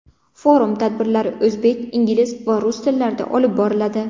Forum tadbirlari o‘zbek, ingliz va rus tillarida olib boriladi.